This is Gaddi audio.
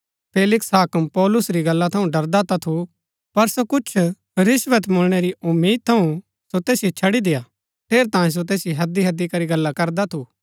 फेलिक्स हाक्म पौलुस री गल्ला थऊँ ड़रदा ता थू पर सो कुछ रिश्‍वत मुळणै री उम्मीद थऊँ सो तैसिओ छड़ी देय्आ ठेरैतांये सो तैसिओ हैदीहैदी करी गल्ला करदा थु